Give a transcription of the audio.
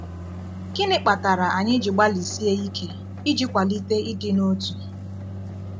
Gịnị kpatara anyị ji gbalịsie ike iji kwalite ịdị n’otu?